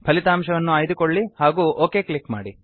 ಫಲಿತಾಂಶವನ್ನು ಆಯ್ದುಕೊಳ್ಳಿ ಹಾಗೂ ಒಕ್ ಕ್ಲಿಕ್ ಮಾಡಿ